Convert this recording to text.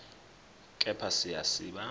kepha siya siba